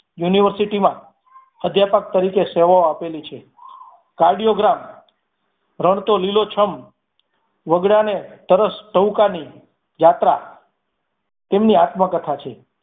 University માં અધ્યાપક તરીકે સેવાઓ આપેલી છે. કાર્ડિયોગ્રામ રણ તો લીલો છમ, વગડાને તરસ ટહુકાની જાત્રા તેમની આત્મકથા છે.